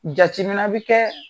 Jatimina bi kɛ